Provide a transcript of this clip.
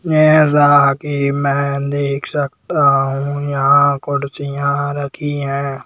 मेज़ा की मैं देख सकता हूँ यहाँ कुड़सियाँ रखी हैं।